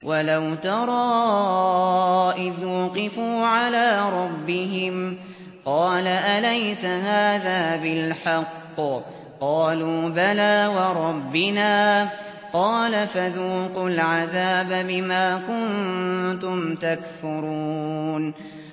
وَلَوْ تَرَىٰ إِذْ وُقِفُوا عَلَىٰ رَبِّهِمْ ۚ قَالَ أَلَيْسَ هَٰذَا بِالْحَقِّ ۚ قَالُوا بَلَىٰ وَرَبِّنَا ۚ قَالَ فَذُوقُوا الْعَذَابَ بِمَا كُنتُمْ تَكْفُرُونَ